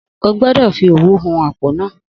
Ogbọ́dọ̀ fi òwú hun apó náà